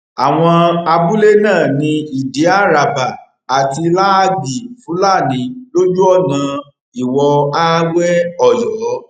àwọn abúlé náà ní ìdí árábà àti láàgì fúlàní lójú ọnà ìwòààwéoyọ